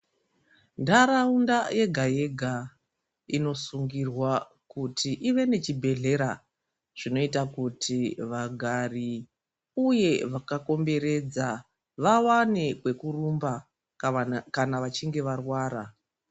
Ndaraunda yega yega inosungirwa kuti ive nechibhedlera zvinoita kuti vagari uye vakakomberedza vawane kweku rumba kana vachinge varwara.